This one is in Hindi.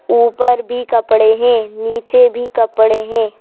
ऊपर भी कपड़े है नीचे भी कपड़े हैं।